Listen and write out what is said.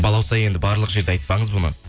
балауса енді барлық жерде айтпаңыз бұны